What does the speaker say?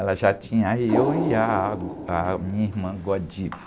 Ela já tinha eu e ah, a minha irmã.